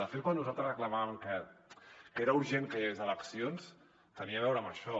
de fet quan nosaltres reclamàvem que era urgent que hi hagués eleccions tenia a veure amb això